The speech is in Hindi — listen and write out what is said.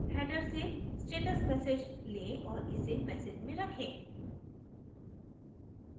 header से status message let और इसे message में रखें